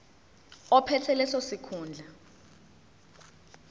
ophethe leso sikhundla